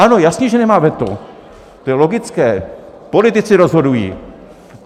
Ano, jasně že nemá veto, to je logické, politici rozhodují.